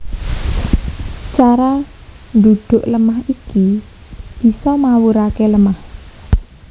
Cara ndhudhuk lemah iki bisa mawuraké lemah